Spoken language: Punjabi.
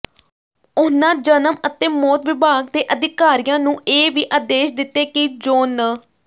ਉਹਨਾਂ ਜਨਮ ਅਤੇ ਮੌਤ ਵਿਭਾਗ ਦੇ ਅਧਿਕਾਰੀਆਂ ਨੂੰ ਇਹ ਵੀ ਆਦੇਸ਼ ਦਿੱਤੇ ਕਿ ਜੋਨ ਨੰ